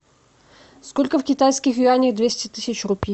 сколько в китайских юанях двести тысяч рупий